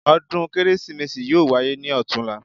Ọdún Kérésìmesì yóò wáyé ní ọ̀tunla